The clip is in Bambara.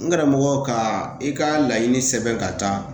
N karamɔgɔ ka i ka laɲini sɛbɛn ka taa